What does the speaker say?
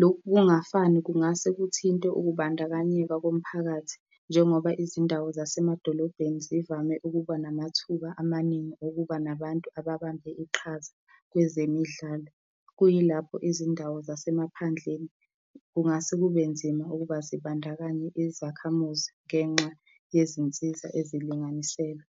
lokhu ukungafani, kungase kuthinte ukubandakanyeka komphakathi, njengoba izindawo nasemadolobheni zivame ukuba namathuba amaningi okuba nabantu ababambe iqhaza kwezemidlalo. Kuyilapho izindawo zasemaphandleni kungase kube nzima ukuba zibandakanye izakhamuzi ngenxa yezinsiza ezilinganiselwa.